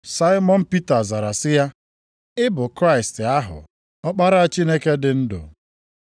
Saimọn Pita zara sị ya, “Ị bụ Kraịst + 16:16 Maọbụ, Onye nzọpụta ahụ, Ọkpara Chineke dị ndụ.”